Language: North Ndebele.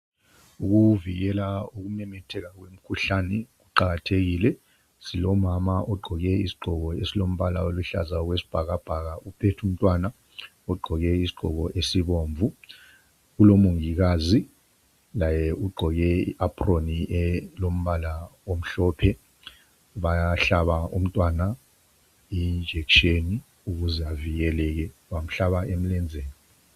Ukuvikela kokumemetheka lomkhuhlane kuqakathekile. Silomama ogqoke isigqoko esilombala oluhlaza okwesibhakabhaka uphethe umntwana ogqoke isigqoko esibomvu. Kulomongikazi laye ugqoke iapron elombala omhlophe bayahla umntwana ijekiseni ukuze avikeleke, bamhlaba emlenzeni.